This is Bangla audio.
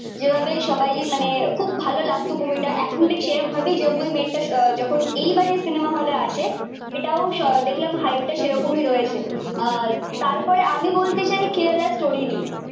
যেভাবে সবাই মানে খুব ভালো লাগতো মুভিটা এখন ঠিক সেরম ভাবেই যাব ওই মেট টা যখন এই বারে সিনেমা হলে আসে এটাও দেখলাম হাইপটা সেরমই রয়েছে আহ তার পরে আমি বলতে চাই কেরেলা স্টোরি নিয়ে